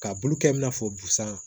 Ka bulu kɛ i n'a fɔ busan